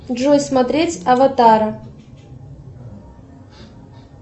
джой смотреть аватара